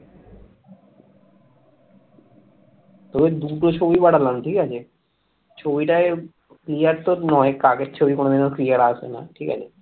ছবিটা যে clear তো নয় আগের ছবি কোনদিনও clear আসবে না ঠিক আছে